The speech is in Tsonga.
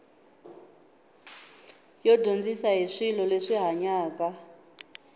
yi dyondzisa hi swilo leswi hanyaka